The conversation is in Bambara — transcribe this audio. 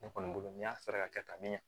Ne kɔni bolo n'i y'a sara ka kɛ tan ne